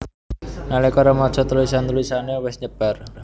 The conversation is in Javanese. Nalika remaja tulisan tulisané wis nyebar